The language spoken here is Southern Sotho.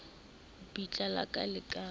bitla la ka le ka